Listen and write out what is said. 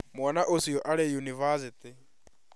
Mwana ũcio arĩ university